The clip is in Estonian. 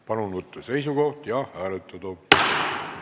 Palun võtta seisukoht ja hääletada!